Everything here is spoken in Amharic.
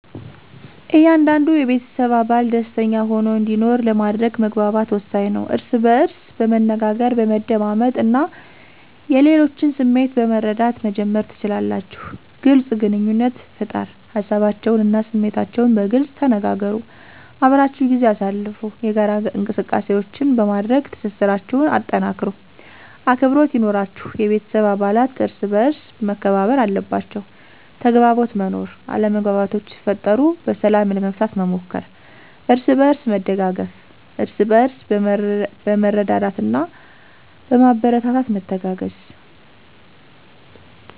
እያንዳንዱ የቤተሰብ አባል ደሰተኛ ሆኖ እንዲኖር ለማድረግ መግባባት ወሳኝ ነው። እርስ በእርስ በመነጋገር፣ በመደማመጥ እና የሌሎችን ስሜት በመረዳት መጀመር ትችላላችሁ። __ግልፅ ግንኙነት ፍጠር ሀሳባቸውን እና ስሜታችሁን በግልፅ ተነጋገሩ። _አብራችሁ ጊዜ አሳልፉ የጋራ እንቅሰቃሴዎች በማድረግ ትስስራቸሁን አጠናክሩ። _አክብሮት ይኑራችሁ የቤተሰብ አባለት እርሰበአርስ መከባበር አለባቸዉ። _ተግባቦት መኖር አለመግባባቶች ሲፈጠሩ በሰላም ለመፍታት መሞከር። አርስበእርስ መደጋገፍ እርስበእርስ በመረዳዳትና በማበረታታት መተጋገዝ።